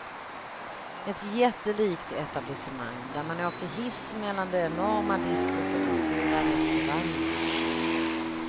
Ett jättelikt etablissemang, där man åker hiss mellan det enorma diskot och den stora restaurangen.